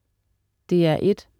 DR1: